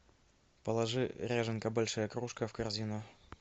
положи ряженка большая кружка в корзину